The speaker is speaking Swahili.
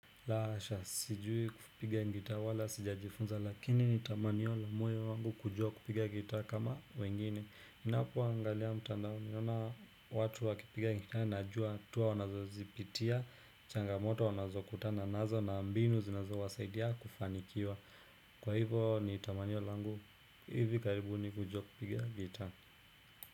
La hasha, sijui kupiga ngita wala, sijajifunza, lakini ni tamaniyo la moyo wangu kujua kupiga ngita kama wengine. Ninapo angalia mtandao, ninaona watu wakipiga ngita najua, hatua wanazo zipitia, changamoto wanazo kutana, nazo na mbinu zinazo wasaidia kufanikiwa. Kwa hivo ni tamaniyo langu, hivi karibuni kujua kupiga ngita.